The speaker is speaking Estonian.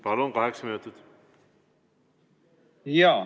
Palun, kaheksa minutit!